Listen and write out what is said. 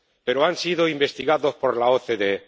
Pero han sido investigados por la OCDE.